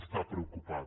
està preocupada